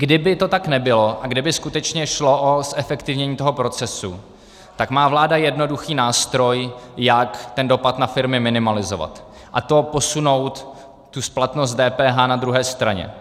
Kdyby to tak nebylo a kdyby skutečně šlo o zefektivnění toho procesu, tak má vláda jednoduchý nástroj, jak ten dopad na firmy minimalizovat, a to posunout tu splatnost DPH na druhé straně.